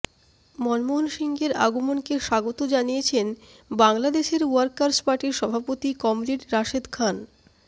মনমোহন সিংয়ের আগমনকে স্বাগত জানিয়েছেন বাংলাদেশের ওয়ার্কার্স পার্টির সভাপতি কমরেড রাশেদ খান